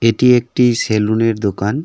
এটি একটি সেলুনের দোকান।